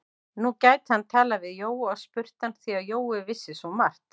Nú gæti hann talað við Jóa og spurt hann, því að Jói vissi svo margt.